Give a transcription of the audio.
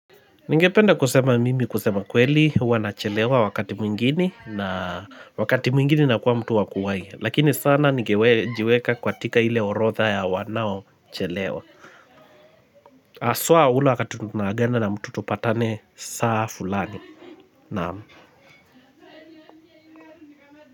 Ningependa kusema mimi kusema kweli huwa nachelewa wakati mwingine na wakati mwingine nakuwa mtu wakuwahi lakini sana nigewejiweka katika hile orodha ya wanaochelewa haswa ule wakati tunaagana na mtu tupatane saa fulani naam.